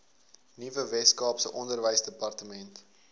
nuwe weskaapse onderwysdepartement